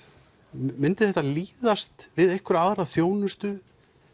myndi þetta líðast við einhverja aðra þjónustu